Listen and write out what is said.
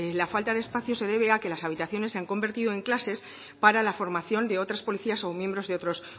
la falta de espacio se debe a que las habitaciones se han convertido en clases para la formación de otras policías o miembros de otros